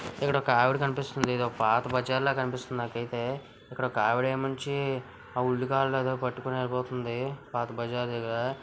ఇక్కడ ఒక ఆవిడ కనిపిస్తుంది. ఇది ఒక పాత బజార్ లా అనిపిస్తుంది. నాకు అయితే ఇక్కడ ఒక ఆవిడ పట్టుకొని వెళ్ళిపోతుంది. పాత బజార్ దగ్గర --